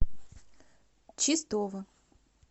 чистова